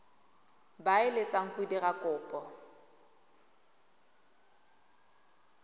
ba eletsang go dira kopo